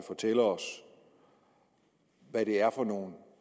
fortælle os hvad det er for nogle